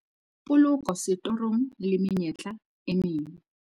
Poloko setorong le menyetla e meng.